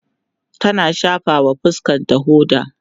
tana shafawa fuskanta hoda